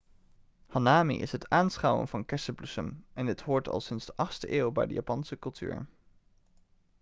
hanami is het aanschouwen van kersenbloesem en dit hoort al sinds de 8e eeuw bij de japanse cultuur